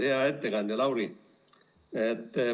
Hea ettekandja Lauri!